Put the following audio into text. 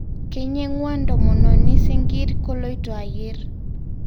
Keinyengua ntomononi singir koloito ayier